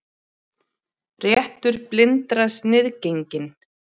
Réttur blindra sniðgenginn